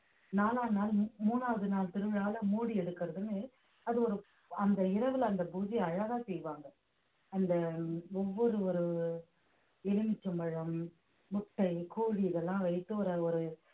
நாலாவது நாள் மூணாவது நாள் திருவிழாவுல மூடி எடுக்கிறதுன்னு அது ஒரு அந்த இரவுல அந்த பூஜையை அழகா செய்வாங்க அந்த ஒவ்வொரு ஒரு எலுமிச்சம்பழம் முட்டை கோழி இதெல்லாம் வைத்து ஒரு ஒரு